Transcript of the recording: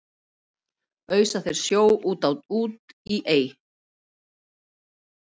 ausa þeir sjó út á út í ey